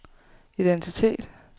identitet